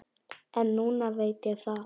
En núna veit ég það.